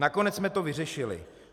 Nakonec jsme to vyřešili.